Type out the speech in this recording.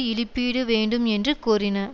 இழிப்பீடு வேண்டும் என்று கோரின